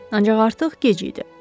Ancaq artıq gec idi.